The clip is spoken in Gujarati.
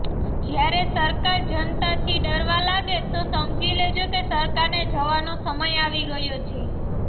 જ્યારે સરકાર જનતાથી ડરવા લાગે તો સમજી લેજો કે સરકારને જવાનો સમય આવી ગયો છે